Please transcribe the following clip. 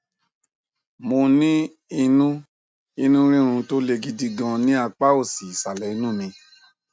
mo ní inú inú rírun tó le gidi gan ní apá òsì ìsàlẹ inú mi